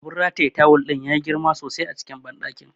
Abun rataye tawul ɗin yayi girma sosai a banɗakin.